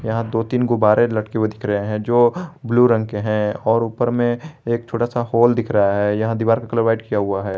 यहां दो तीन गुब्बारे लटके हुए दिख रहे हैं जो ब्लू रंग के हैं और ऊपर में एक छोटा सा होल दिख रहा है यहां दीवार का कलर व्हाइट किया हुआ है।